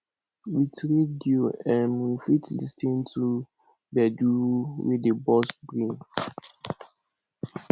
with radio um we fit lis ten to gbedu wey dey burst brain